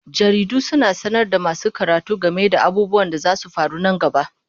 Jaridu suna sanar da masu karatu game da abubuwan da zasu faru nan gaba.